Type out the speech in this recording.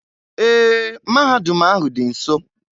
Ee, mahadum ahụ dị nso.